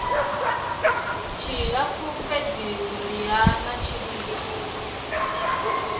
tshilapfu fhedzi vhuriha na tshilimo